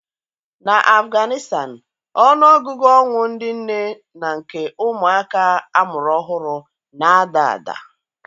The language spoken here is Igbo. Na Apganịstan, ọnụ ọgụgụ ọnwụ ndị nne na nke ụmụ àkà amụrụ ọhụrụ na-ada ada